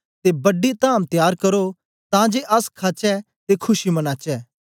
ते बड्डी धाम तयार करो तां जे अस खाचै ते खुशी मनाचै